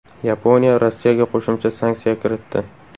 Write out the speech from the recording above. Yaponiya Rossiyaga qo‘shimcha sanksiya kiritdi.